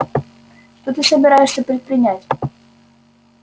что ты собираешься предпринять